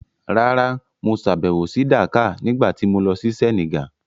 Rárá, mo sàbẹ̀wò sí Dakar nígbà tí mo lọ sí Senegal.